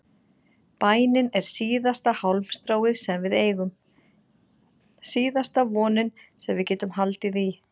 Bænin er síðasta hálmstráið sem við eigum, síðasta vonin sem við getum haldið í.